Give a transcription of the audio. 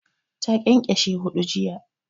Ta ƙyanƙyashe huɗu jiya